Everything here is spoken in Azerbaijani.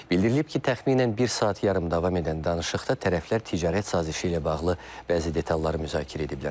Bildirilib ki, təxminən bir saat yarım davam edən danışıqda tərəflər ticarət sazişi ilə bağlı bəzi detalları müzakirə ediblər.